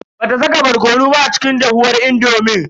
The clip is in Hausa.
Bata saka barkono ba a cikin dahuwar indomin.